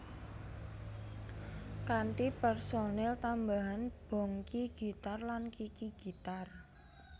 Kanthi personel tambahan Bongky gitar lan Kiki gitar